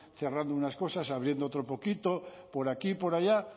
cerrando unas cosas abriendo otro poquito por aquí por allá